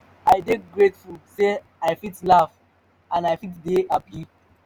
i dey grateful say i fit laugh and i fit dey hapi